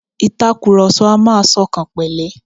Ìtakurọlsọ a máa ṣọkànpẹ̀lẹ́.